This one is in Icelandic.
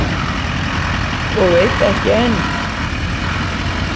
Og veit ekki enn.